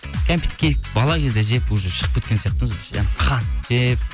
кәмпитке бала кезде жеп уже шығып кеткен сияқтымыз қант жеп